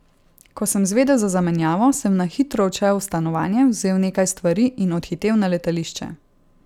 Ko sem zvedel za zamenjavo, sem na hitro odšel v stanovanje, vzel nekaj stvari in odhitel na letališče.